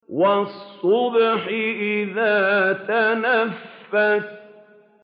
وَالصُّبْحِ إِذَا تَنَفَّسَ